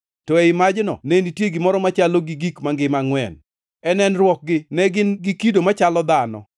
to ei majno ne nitie gimoro machalo gi gik mangima angʼwen. E nenruokgi ne gin gi kido machalo dhano,